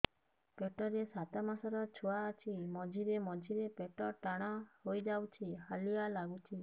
ପେଟ ରେ ସାତମାସର ଛୁଆ ଅଛି ମଝିରେ ମଝିରେ ପେଟ ଟାଣ ହେଇଯାଉଚି ହାଲିଆ ଲାଗୁଚି